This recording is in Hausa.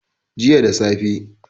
jiya da safe